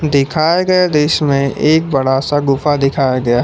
दिखाये गए दृश्य में एक बड़ा सा गुफा दिखाया गया है।